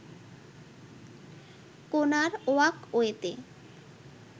কোনার ওয়াকওয়েতে